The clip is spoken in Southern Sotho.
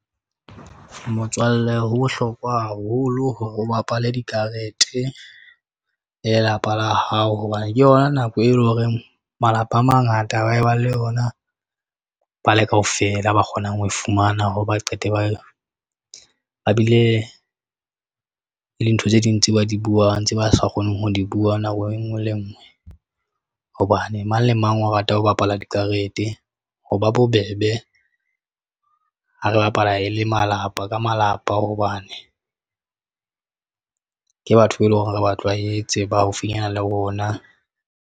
Motswalle ho bohlokwa haholo hore o bapale dikarete le lelapa la hao hobane ke yona nako eo e leng hore malapa a mangata a ba e ba le yona. Ba le kaofela ba kgonang ho e fumana hore ba qete ba yona ba bile le ntho tse ding tse ba di buang, ntse ba sa kgoneng ho di bua. Nako e nngwe le e ngwe. Hobane mang le mang o rata ho bapala dikarete ho ba bobebe ha re bapala e le malapa ka malapa, hobane ke batho be e leng hore re ba tlwaetse ba haufinyana le rona.